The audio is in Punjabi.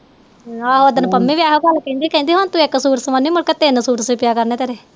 ਆਹ ਓਦਣ ਪੰਮੀ ਵੀ ਇਹੋ ਗੱਲ ਕਹਿੰਦੀ ਕਹਿੰਦੀ ਹੁਣ ਤੂੰ ਇੱਕ ਸੂਟ ਸਵੋਨੀ ਮੁੜ ਕੇ ਤਿੰਨ ਸੂਟ